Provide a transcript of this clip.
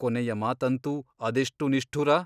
ಕೊನೆಯ ಮಾತಂತೂ ಅದೆಷ್ಟು ನಿಷ್ಠುರ !